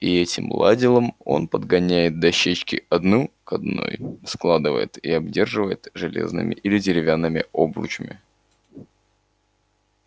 и этим ладилом он подгоняет дощечки одну к одной складывает и обдерживает железными или деревянными обручами